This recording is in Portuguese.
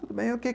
Tudo bem, o que